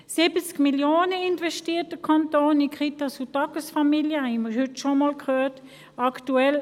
Der Kanton investiert 70 Mio. Franken in Kitas und Tagesfamilien, wie wir heute schon einmal gehört haben.